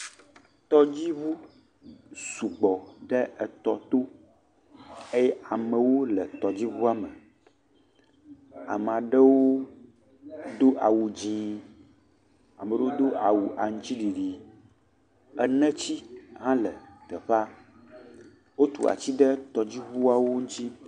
Tɔdzi ʋu sugbɔ ɖe etɔ to, eye amewo le tɔdzi ʋuame, amaɖewo do aʋu dzié, ameɖowo do awu aŋtsiɖiɖi, enetsi hã le teƒea, o tu atsi ɖe tɔdzi ʋuawo ŋutsi.